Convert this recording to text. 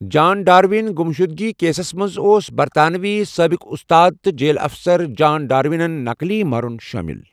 جان ڈارون گُمشدگی کیسَس منٛز اوس برطانوی سٲبق استاد تہٕ جیل اَفسَر جان ڈاروِنُن نکلی مرُن شٲمِل۔